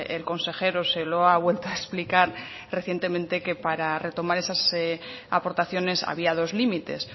el consejero se lo ha vuelto a explicar recientemente que para retomar esas aportaciones había dos límites